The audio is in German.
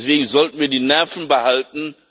Deswegen sollten wir die Nerven behalten.